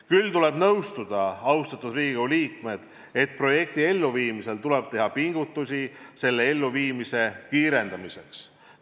Küll aga tuleb nõustuda, austatud Riigikogu liikmed, et projekti elluviimisel tuleb teha pingutusi selle elluviimise kiirendamiseks.